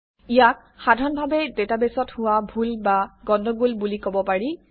ইয়াক সাধাৰণভাৱে ডাটাবেছত হোৱা ভুল বা গণ্ডগোল বুলি কব পাৰি